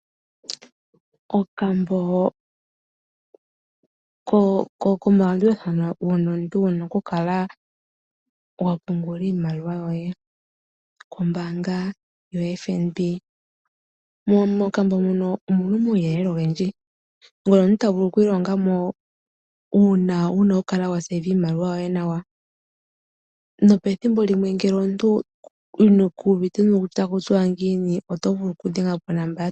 Okambo komalandulathano hono wu na okukala wa pungula iimaliwa yoye kombaanga yoFNB. Mokambo muka omu na omauyelele ogendji mono omuntu ta vulu oku ilonga mo uuna omuntu wu na okukala wa siikila iimaliwa yoye nawa. Nopethimbo limwe ngele omuntu ku uvite kutya ota ku tiwa ngiini, oto vulu okudhengela konomola yombaanga.